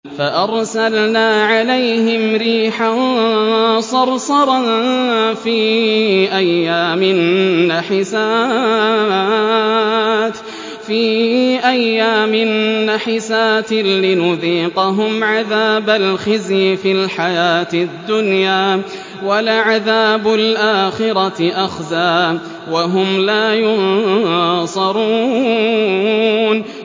فَأَرْسَلْنَا عَلَيْهِمْ رِيحًا صَرْصَرًا فِي أَيَّامٍ نَّحِسَاتٍ لِّنُذِيقَهُمْ عَذَابَ الْخِزْيِ فِي الْحَيَاةِ الدُّنْيَا ۖ وَلَعَذَابُ الْآخِرَةِ أَخْزَىٰ ۖ وَهُمْ لَا يُنصَرُونَ